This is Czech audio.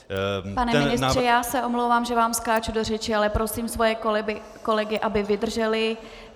Pane ministře, já se omlouvám, že vám skáču do řeči, ale prosím svoje kolegy, aby vydrželi.